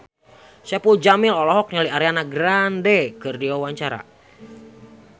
Saipul Jamil olohok ningali Ariana Grande keur diwawancara